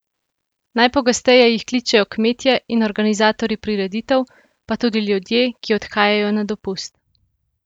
Najpogosteje jih kličejo kmetje in organizatorjji prireditev, pa tudi ljudje, ki odhajajo na dopust.